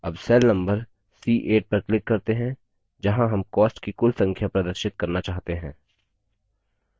अब cell number c8 पर click करते हैं जहाँ हम costs की कुल संख्या प्रदर्शित करना चाहते हैं